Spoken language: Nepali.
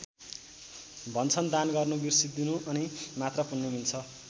भन्छन् दान गर्नु बिर्सिदिनु अनि मात्र पुण्य मिल्छ।